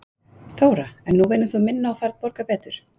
Þóra: En nú vinnur þú minna og færð borgað betur?